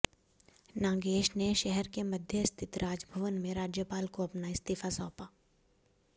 नागेश ने शहर के मध्य स्थित राजभवन में राज्यपाल को अपना इस्तीफा सौंपा